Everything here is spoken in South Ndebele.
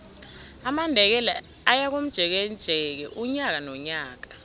amandebele ayakomjekeje unyaka nonyaka